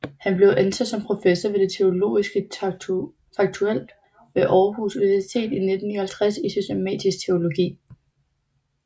Han blev ansat som professor ved Det Teologiske Fakultet ved Aarhus Universitet i 1959 i systematisk teologi